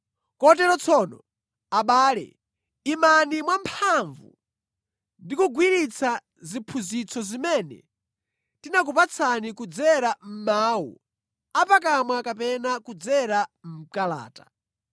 Kotero tsono, abale, imani mwamphamvu ndi kugwiritsa ziphunzitso zimene tinakupatsani kudzera mʼmawu apakamwa kapena kudzera mʼkalata.